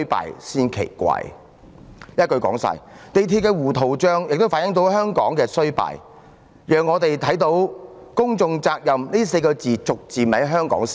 一言以蔽之，港鐵公司的糊塗帳亦反映了香港的衰敗，讓我們看到香港是越來越不重視"公眾責任"了。